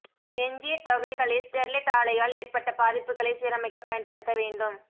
எஞ்சிய தொகைகளை ஸ்டெர்லைட் ஆலையால் ஏற்பட்ட பாதிப்புகளை சீரமைக்க பயன்படுத்த வேண்டும்